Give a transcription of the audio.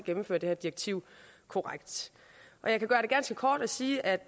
gennemføre det her direktiv korrekt jeg kan gøre det ganske kort og sige at